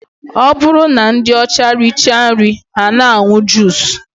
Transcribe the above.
Ọ bụrụ na ndị ọcha richaa nri ha na-aṅụ juus